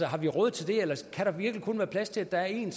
har vi råd til det eller kan der virkelig kun være plads til at der er én